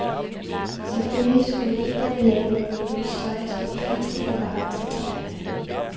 Selvfølgelig skulle medierne lave nogle nemme historier som de fleste kan forholde sig til.